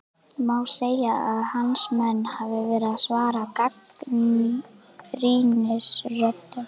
Má segja að hans menn hafi verið að svara gagnrýnisröddum?